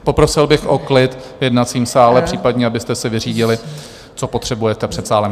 Poprosil bych o klid v jednacím sále, případně abyste si vyřídili, co potřebujete, před sálem.